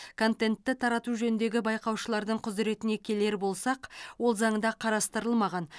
контентті тарату жөніндегі байқаушылардың құзыретіне келер болсақ ол заңда қарастырылмаған